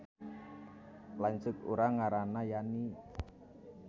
Lanceuk urang ngaranna Yani